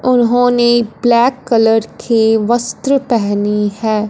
उन्होंने black colour के वस्त्र पहनी है।